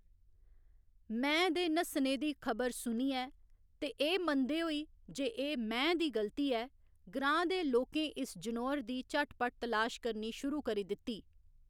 मैंह्‌‌ दे नस्सने दी खबर सुनियै ते एह्‌‌ मनदे होई जे एह्‌‌ मैंह्‌‌ दी गल्ती ऐ, ग्रांऽ दे लोकें इस जनोअर दी झटपट तलाश करनी शुरू करी दित्ती।